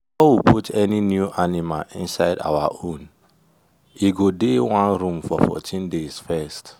before we put any new animal inside our own e go dey one room for 14 days first